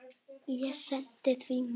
Ég sendi því mat.